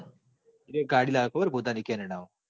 એરોય ગાડી લ્યો પોતાની ceneda મો